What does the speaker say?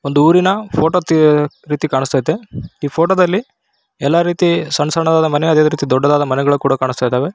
ಒಂದು ಊರಿನ ಫೋಟೋ ರೀತಿ ಕಾಣಿಸ್ತಾ ಇದೆ ಈ ಫೋಟೋ ದಲ್ಲಿ ಎಲ್ಲಾ ರೀತಿ ಸಣ್ಣ ಸಣ್ಣ ಮನೆ ಇದೆ ಅದೇ ರೀತಿ ದೊಡ್ಡದಾದ ಮನೆಗಳು ಕೂಡ ಕಾಣಿಸ್ತಾ ಇದಾವೆ.